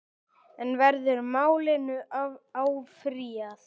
En verður málinu áfrýjað?